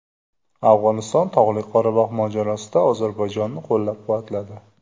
Afg‘oniston Tog‘li Qorabog‘ mojarosida Ozarbayjonni qo‘llab-quvvatladi.